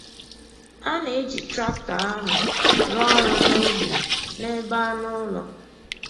A na-eji traktọ ahụ rụọ ọrụ n’ubi na n’ebe anụ ụlọ.